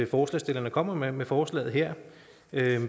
forslagsstillerne kommer med med forslaget her